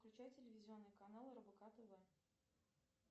включай телевизионный канал рбк тв